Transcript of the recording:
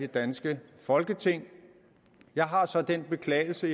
danske folketing jeg har så den beklagelse